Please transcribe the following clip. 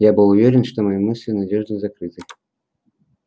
я был уверен что мои мысли надёжно закрыты